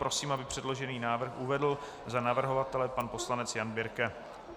Prosím, aby předložený návrh uvedl za navrhovatele pan poslanec Jan Birke.